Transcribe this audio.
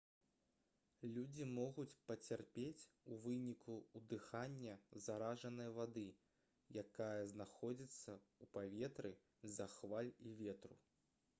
людзі могуць пацярпець у выніку ўдыхання заражанай вады якая знаходзіцца ў паветры з-за хваль і ветру